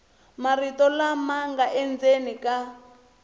marito lama nga endzeni ka